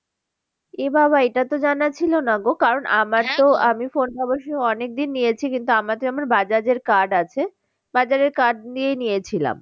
এ বাবা এটা তো জানা ছিল না গো কারণ আমার আমি phone ভাবো সেই অনেক দিন নিয়েছি কিন্তু bajaj এর card আছে bajaj এর card নিয়েই নিয়েছিলাম।